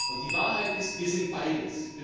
Und die Wahrheit ist Wir sind beides.